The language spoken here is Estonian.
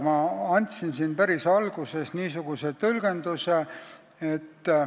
Ma andsin siin päris alguses niisuguse tõlgenduse.